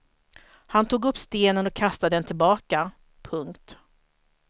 Han tog upp stenen och kastade den tillbaka. punkt